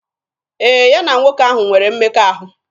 Ee, ya na nwoke ahụ nwere mmekọahụ.